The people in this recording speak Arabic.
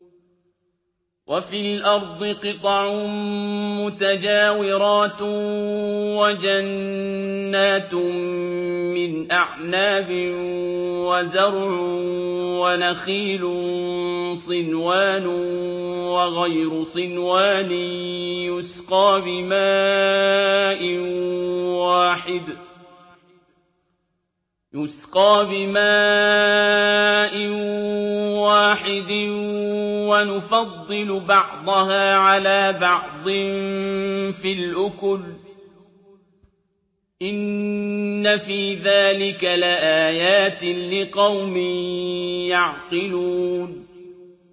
وَفِي الْأَرْضِ قِطَعٌ مُّتَجَاوِرَاتٌ وَجَنَّاتٌ مِّنْ أَعْنَابٍ وَزَرْعٌ وَنَخِيلٌ صِنْوَانٌ وَغَيْرُ صِنْوَانٍ يُسْقَىٰ بِمَاءٍ وَاحِدٍ وَنُفَضِّلُ بَعْضَهَا عَلَىٰ بَعْضٍ فِي الْأُكُلِ ۚ إِنَّ فِي ذَٰلِكَ لَآيَاتٍ لِّقَوْمٍ يَعْقِلُونَ